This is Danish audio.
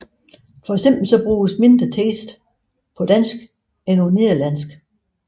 For eksempel bruges mindre tekst på dansk end på nederlansk